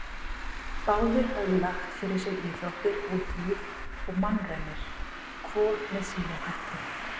Báðir höfðu lagt fyrir sig íþróttir, útilíf og mannraunir, hvor með sínum hætti.